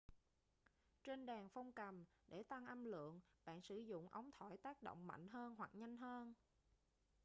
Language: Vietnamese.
trên đàn phong cầm để tăng âm lượng bạn sử dụng ống thổi tác động mạnh hơn hoặc nhanh hơn